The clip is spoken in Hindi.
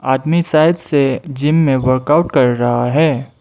आदमी साइड से जिम में वर्कआउट कर रहा है।